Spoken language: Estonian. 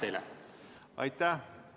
Aitäh!